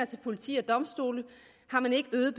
til politi og domstole har man ikke øget